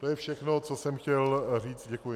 To je všechno, co jsem chtěl říct, děkuji.